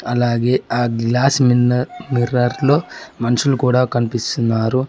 అలాగే ఆ గ్లాస్ మిన్న మిర్రర్ లో మనుషులు కూడా కనిపిస్తున్నారు.